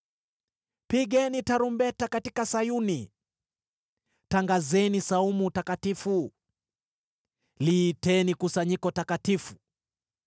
Pigeni tarumbeta katika Sayuni, tangazeni saumu takatifu, liiteni kusanyiko takatifu.